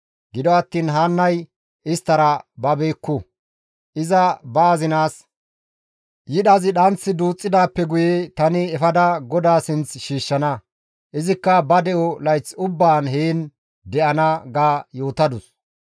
Gido attiin Haannay isttara babeekku; iza ba azinaas, «Yidhazi dhanth duuththidaappe guye tani efada GODAA sinth shiishshana; izikka ba de7o layth ubbaan heen de7ana» ga yootadus.